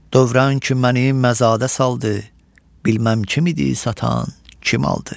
Dövrəngi məni mazağa saldı, bilməm kim idi satan, kim aldı.